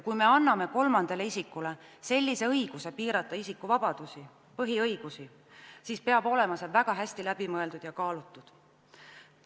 Kui me anname kolmandale isikule õiguse piirata isikuvabadusi, põhiõigusi, siis peab see olema väga hästi läbi mõeldud ja kaalutud.